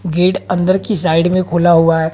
gate अंदर की side में खुला हुआ --